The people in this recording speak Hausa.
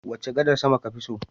Wace gadar sama kafi so?